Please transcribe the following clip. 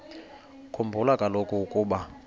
khumbula kaloku ukuba